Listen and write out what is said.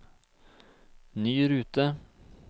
ny rute